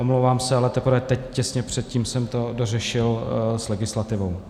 Omlouvám se, ale teprve teď těsně předtím jsem to dořešil s legislativou.